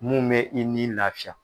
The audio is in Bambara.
Mun mɛ i ni lafiya